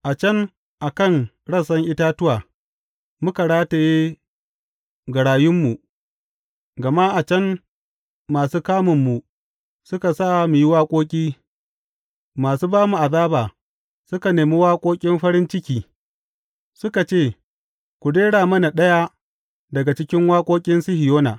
A can a kan rassan itatuwa muka rataye garayunmu, gama a can masu kamunmu suka sa mu yi waƙoƙi, masu ba mu azaba suka nema waƙoƙin farin ciki; suka ce, Ku rera mana ɗaya daga cikin waƙoƙin Sihiyona!